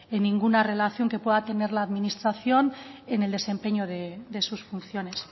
en ninguna relación que pueda tener la administración en el desempeño de sus funciones